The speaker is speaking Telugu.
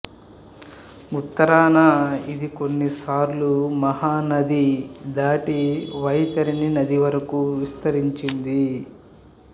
ఉత్తరాన ఇది కొన్నిసార్లు మహానది దాటి వైతరణి నది వరకు విస్తరించింది